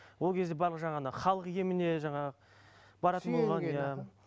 ол кезде барып жаңағындай халық еміне жаңағы баратын болған иә